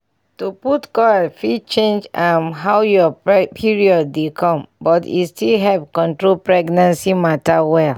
to put coil fit change um how your period dey come but e still help control pregnancy matter well.